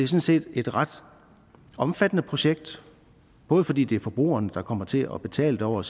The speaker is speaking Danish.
set et ret omfattende projekt både fordi det er forbrugerne der kommer til at betale over